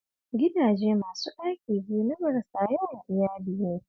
Gidaje masu ɗaki biyu na marasa yawan iyali ne